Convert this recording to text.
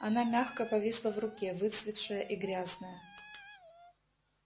она мягко повисла в руке выцветшая и грязная